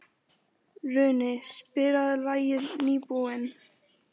Runi, spilaðu lagið „Nýbúinn“.